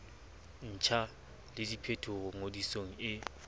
ntjha le diphetolo ngodisong e